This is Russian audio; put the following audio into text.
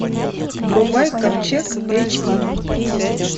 врубай ковчег эйч ди